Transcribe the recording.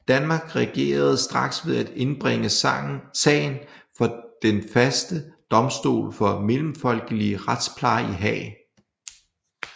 Danmark reagerede straks ved at indbringe sagen for Den Faste Domstol for Mellemfolkelig Retspleje i Haag